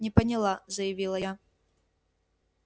не поняла заявила я